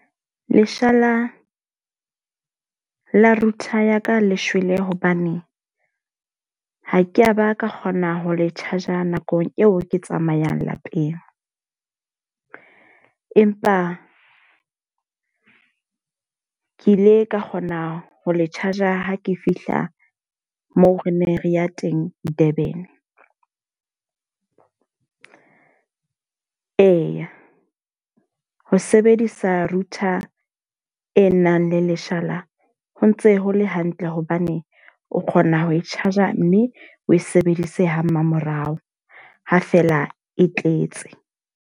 Leshala la router ya ka le shwele hobane ha ke a ba ka kgona ho le charger nakong eo ke tsamayang lapeng. Empa ke ile ka kgona ho le charger ha ke fihla moo re neng re ya teng Durban. Eya, ho sebedisa router e nang le leshala ho ntse ho le hantle hobane o kgona ho e charger mme o sebedise ha mmamorao ha fela e tletse.